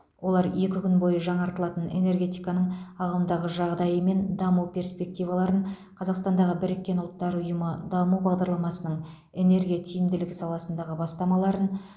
олар екі күн бойы жаңартылатын энергетиканың ағымдағы жағдайы мен даму перспективаларын қазақстандағы біріккен ұлттар ұйымы даму бағдарламасының энергия тиімділігі саласындағы бастамаларын